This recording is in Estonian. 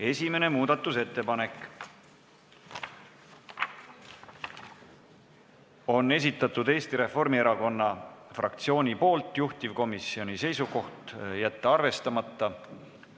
Esimese muudatusettepaneku on esitanud Eesti Reformierakonna fraktsioon, juhtivkomisjoni seisukoht on jätta see arvestamata.